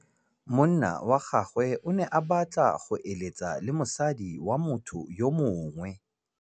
Monna wa gagwe o ne a batla go êlêtsa le mosadi wa motho yo mongwe.